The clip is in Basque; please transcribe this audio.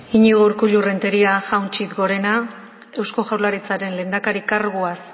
iñigo urkullu renteria jaun txit gorena eusko jaurlaritzaren lehendakari karguaz